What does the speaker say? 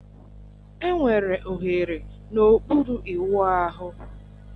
Enwere oghere n'okpuru ịwụ ahụ